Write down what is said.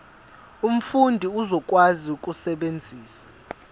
umfundi uzokwazi ukusebenzisa